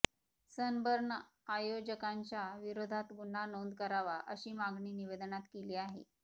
sunburn आयोजकांच्या विरोधात गुन्हा नोंद करावा अशी मागणी निवेदनात केली आहे